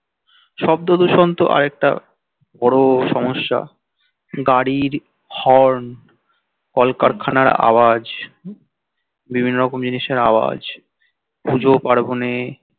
শব্দ দূষণ তো আর একটা বড় সমস্য়া গাড়ির হর্ন কলকারখানার আওয়াজ বিভিন্ন রকম জিনিসের আওয়াজ পুজো পার্বনে